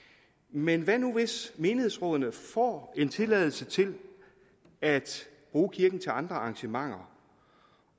men hvad nu hvis menighedsrådene får en tilladelse til at bruge kirken til andre arrangementer